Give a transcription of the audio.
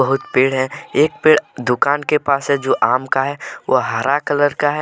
बहुत पेड़ है एक पेड़ दुकान के पास है जो आम का है व हरा कलर का है।